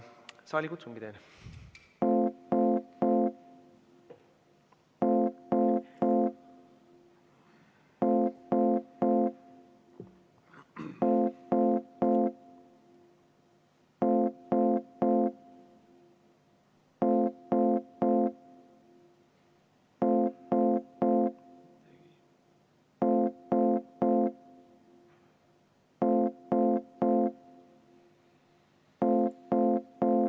Saalikutsung.